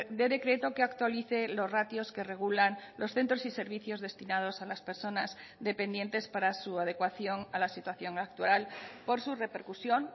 de decreto que actualice los ratios que regulan los centros y servicios destinados a las personas dependientes para su adecuación a la situación actual por su repercusión